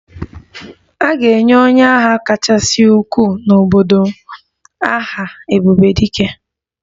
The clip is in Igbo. A ga-enye onye agha kachasị ukwuu n'obodo m aha 'ebube dike'